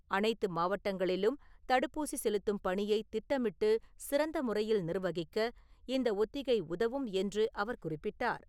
அனைத்து மாவட்டங்களிலும் தடுப்பூசி செலுத்தும் பணியை திட்டமிட்டு சிறந்த முறையில் நிர்வகிக்க இந்த ஒத்திகை உதவும் என்று அவர் குறிப்பிட்டார்.